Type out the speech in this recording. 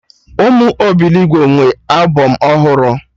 Ụmụ obilogbo nwee albọm ọhụrụ